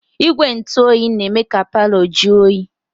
Igwe ntụoyi na-eme ka palọ jụọ oyi.